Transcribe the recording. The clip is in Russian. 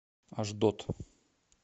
ашдод